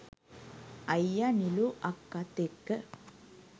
අයියා නිලු අක්කත් එක්ක